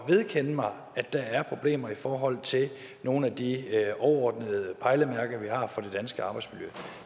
vedkendt mig at der er problemer i forhold til nogle af de overordnede pejlemærker vi har for det danske arbejdsmiljø